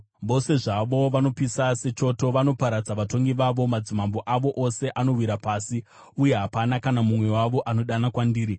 Vose zvavo vanopisa sechoto; vanoparadza vatongi vavo. Madzimambo avo ose anowira pasi, uye hapana kana mumwe wavo anodana kwandiri.